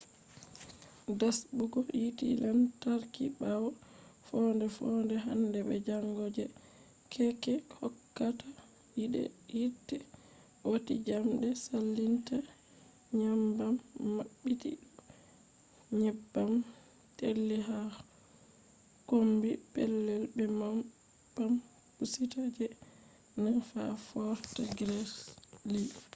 rasɓugo yite lantarki ɓawo foonde-foonde hande be jango je keeke hokkata yite wati njamɗe salinta nyebbam maɓɓiti bo nyebbam teeli ha kombi pellel be pampusitta je 9 ha fort greely